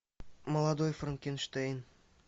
молодой франкенштейн